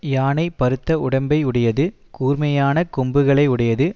யானை பருத்த உடம்பை உடையது கூர்மையானக் கொம்புகளை உடையது